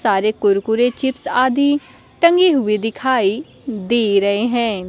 सारे कुरकुरे चिप्स आदि टंगे हुए दिखाई दे रहे हैं।